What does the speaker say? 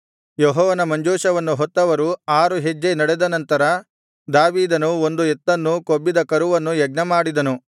ಯೆಹೋವನ ಮಂಜೂಷವನ್ನು ಹೊತ್ತವರು ಆರು ಹೆಜ್ಜೆ ನಡೆದ ನಂತರ ದಾವೀದನು ಒಂದು ಎತ್ತನ್ನೂ ಕೊಬ್ಬಿದ ಕರುವನ್ನೂ ಯಜ್ಞಮಾಡಿದನು